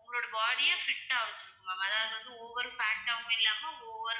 உங்களோட body அ fit ஆ வச்சுக்கும் ma'am அதாவது over fat ஆவும் இல்லாம over